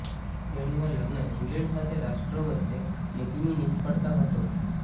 તેણીના લગ્ન ઇંગ્લેન્ડ સાથે રાષ્ટ્રો વચ્ચે નીતિની નિષ્ફળતા હતો